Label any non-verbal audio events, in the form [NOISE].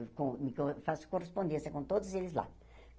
[UNINTELLIGIBLE] Então eu faço correspondência com todos eles lá.